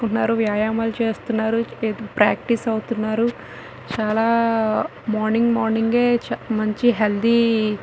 ఉన్నారు వ్యాయామాలు చేస్తువున్నారు ప్రాక్టీసు అవుతున్నారుచాలా మార్నింగ్ మార్నింగ్ ఏ మంచి హెల్తీ --